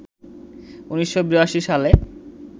১৯৮২ সালে